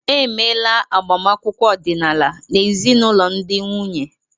Emeela agbamakwụkwọ ọdịnala n'ezinụlọ ndị nwunye.